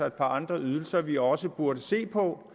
et par andre ydelser som vi også burde se på